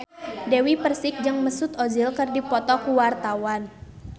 Dewi Persik jeung Mesut Ozil keur dipoto ku wartawan